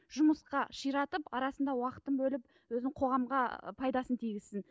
жұмысқа ширатып арасында уақытын бөліп өзін қоғамға пайдасын тигізсін